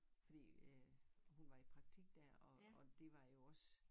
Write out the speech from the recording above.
Fordi øh hun var i praktik dér og og det var jo også